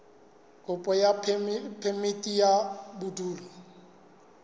kopo ya phemiti ya bodulo